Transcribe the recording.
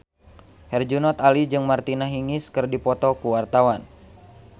Herjunot Ali jeung Martina Hingis keur dipoto ku wartawan